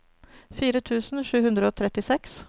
fire tusen sju hundre og trettiseks